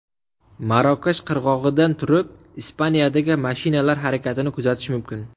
Marokash qirg‘og‘idan turib Ispaniyadagi mashinalar harakatini kuzatish mumkin.